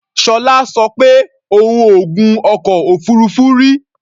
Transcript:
Ṣọlá sọ pé òun ò gun ọkọ̀ òfuurufú rí.